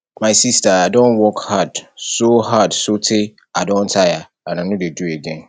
my sister i don work hard so hard so tey i don tire and i no dey do again